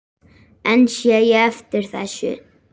En sé ég eftir þessu?